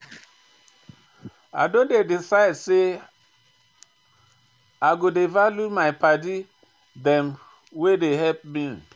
I don decide sey I go dey value my paddy dem wey dey help me